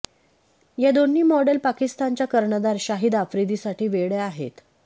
या दोन्ही मॉडेल पाकिस्तानचा कर्णधार शाहीद आफ्रीदीसाठी वेड्या आहेत